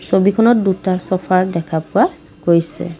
ছবিখনত দুটা ছফাৰ দেখা পোৱা গৈছে।